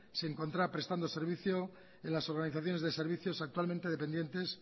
se encontraba prestando servicio en las organizaciones de servicios actualmente dependientes